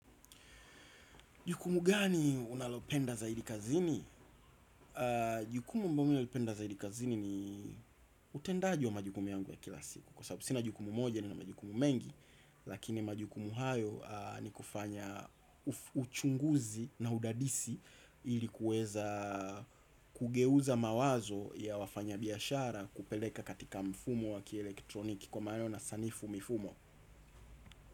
Jukumu gani unalopenda za idikazini? Jukumu mimina lipenda za idikazini ni utendaji wa majukumu yangu ya kila siku. Kwa sababu sina jukumu moja ni na majukumu mengi. Lakini majukumu hayo ni kufanya uchunguzi na udadisi. Ilikuweza kugeuza mawazo ya wafanya biashara. Kupeleka katika mfumo wakilektroniki kwa maleo na sanifu mifumo.